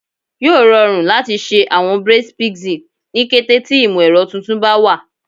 Yoo rọrun lati ṣe awọn braids pixie ni kete ti imọ-ẹrọ tuntun ba wa